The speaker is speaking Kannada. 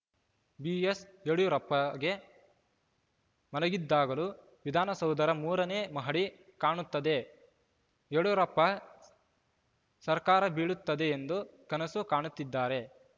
ಬಿಎಸ್‌ಯಡಿಯೂರಪ್ಪಗೆ ಮಲಗಿದಾಗಲೂ ವಿಧಾನಸೌಧದ ಮೂರನೇ ಮಹಡಿ ಕಾಣುತ್ತದೆ ಯಡಿಯೂರಪ್ಪ ಸರ್ಕಾರ ಬೀಳುತ್ತದೆ ಎಂದು ಕನಸು ಕಾಣುತ್ತಿದ್ದಾರೆ